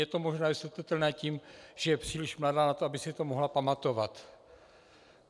Je to možná vysvětlitelné tím, že je příliš mladá na to, aby si to mohla pamatovat.